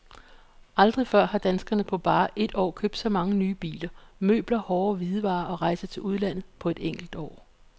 Aldrig før har danskerne på bare et år købt så mange nye biler, møbler, hårde hvidevarer og rejser til udlandet på et enkelt år.